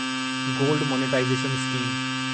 gold monetisation scheme